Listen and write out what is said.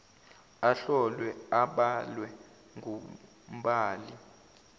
ahlolwe abalwe ngumbali